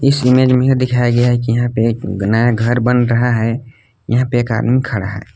इस इमेज में दिखाया गया है कि यहां पे एक नया घर बन रहा है यहां पे एक आदमी खड़ा है।